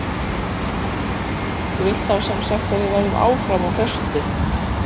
Þú vilt þá sem sagt að við verðum áfram á föstu?